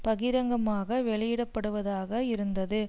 பகிரங்கமாக வெளியிடப்படுவதாக இருந்தது